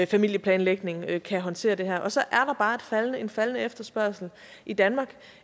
familieplanlægning kan kan håndtere det her og så er der bare en faldende efterspørgsel i danmark